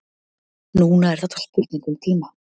Núna er þetta spurning um tíma.